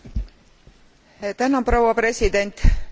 Lugupeetud kolleegid, lugupeetud volinik!